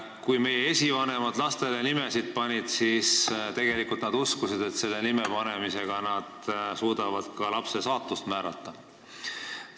Kui meie esivanemad lapsele nime panid, siis nad uskusid, et sellega nad suudavad ka lapse saatust määrata.